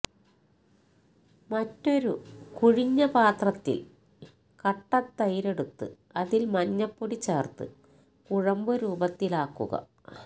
മറ്റൊരു കുഴിഞ്ഞ പാത്രത്തില് കട്ട തൈരെടുത്ത് അതില് മഞ്ഞപ്പൊടി ചേര്ത്ത് കുഴമ്പുരൂപത്തിലാക്കുക